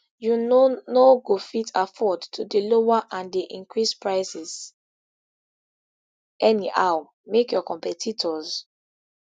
you no no go fit afford to dey lower and dey increase prices anyhow make your competitors